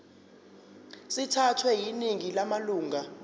sithathwe yiningi lamalunga